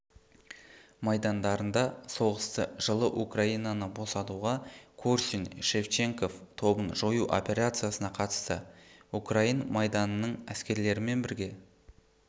майдандарында соғысты жылы украинаны босатуға корсунь-шевченков тобын жою операциясына қатысты украин майданының әскерлерімен бірге